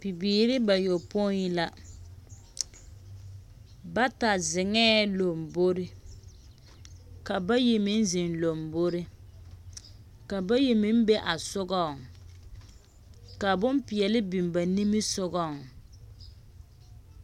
Bibiiri bayɔpoi la, bata zeŋɛɛ lombori, ka bayi meŋ zeŋ lombori, ka bayi meŋ zeŋaa sogɔŋ.